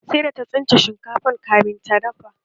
Sai da ta tsince duwatsun kamin ta dafa shinkafan